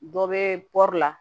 Dɔ bɛ pɔri la